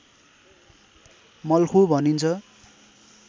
मल्खु भनिन्छ